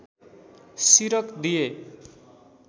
सिरक दिए